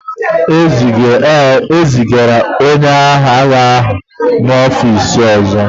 Ee, e zigara onye agha ahụ n'ọfịs ọzọ